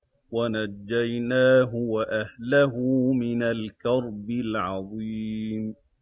وَنَجَّيْنَاهُ وَأَهْلَهُ مِنَ الْكَرْبِ الْعَظِيمِ